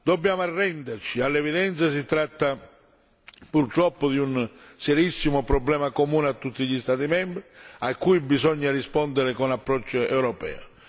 Dobbiamo arrenderci all'evidenza, si tratta purtroppo di un serissimo problema comune a tutti gli Stati membri, a cui bisogna rispondere con approccio europeo.